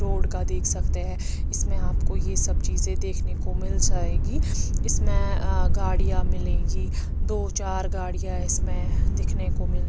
road का देख सकते हैं इसमें आपको ये सब चीजे देखने को मिल जाएगी इसमें आअ गाड़ियां मिलेगी दो चार गाड़ियां इसमें दिखने को मिल--